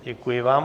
Děkuji vám.